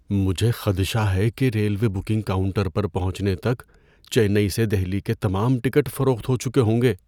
مجھے خدشہ ہے کہ ریلوے بکنگ کاؤنٹر پر پہنچنے تک چنئی سے دہلی کے تمام ٹکٹ فروخت ہو چکے ہوں گے۔